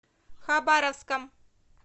хабаровском